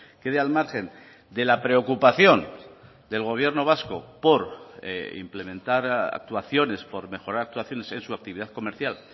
quede al margen de la preocupación del gobierno vasco por implementar actuaciones por mejorar actuaciones en su actividad comercial